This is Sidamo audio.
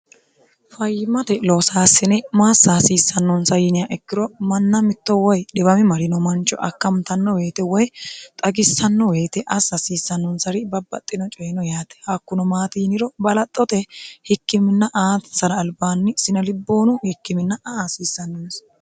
fayyimate loosaassine maassa hasiissannonsa yinia ikkiro manna mitto woy dhiwami marino mancho akkamtanno weyite woy xagissanno weyite assa hasiissannonsari babbaxxino coyino yaate hakkuno maati yiniro balaxxote hikkiminn aansar albaanni sinelibboonu hikkimina aa hasiissannonsa